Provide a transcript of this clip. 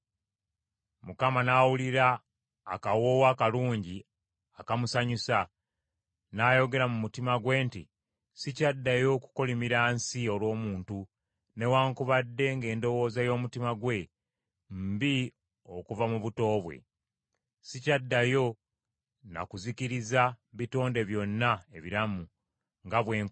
Mukama n’awulira akawoowo akalungi akamusanyusa, n’ayogera mu mutima gwe nti, “Sikyaddayo kukolimira nsi olw’omuntu, newaakubadde ng’endowooza y’omutima gwe mbi okuva mu buto bwe. Sikyaddayo na kuzikiriza bitonde byonna ebiramu, nga bwe nkoze.